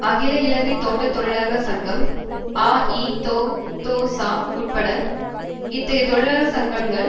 அகில இலங்கை தோட்ட தொழிலாளர் சங்கம் அஇதோதொச உட்பட இத்தகைய தொழிற்சங்கங்கள்